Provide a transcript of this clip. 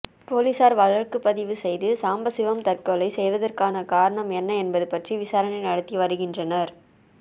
போலீசார் வழக்கு பதிவு செய்து சாம்பசிவம் தற்கொலை செய்ததற்கான காரணம் என்ன என்பது பற்றி விசாரணை நடத்தி வருகின்றனர்